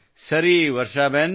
ಸರಿ ವರ್ಷಾಬೆನ್